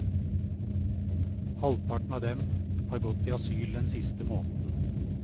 Halvparten av dem har gått i asyl den siste måneden.